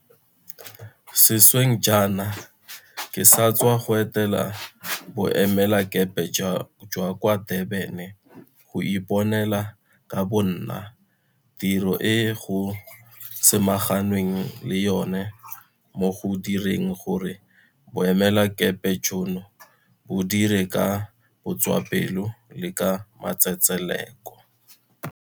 Sešweng jaana ke sa tswa go etela Bo emelakepe jwa kwa Durban go iponela ka bo nna tiro e go samaganweng le yona mo go direng gore boemelakepe jono bo dire ka botswapelo le ka matsetseleko.